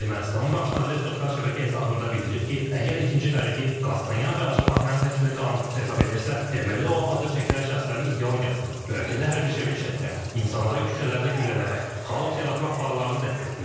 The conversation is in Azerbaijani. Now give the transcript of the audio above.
Ermənistanın baş naziri sosial şəbəkə hesabında bildirib ki, əgər ikinci Qaregin Qazstanyan və Ajapahyanın həbsini qanunsuz hesab edirsə, deməli o, adı çəkilən şəxslərin ideologiyasını və ölkədə hərbi çevriliş etmək, insanları küçələrdə güllələmək, xaos yaratmaq planlarını dəstəkləyir.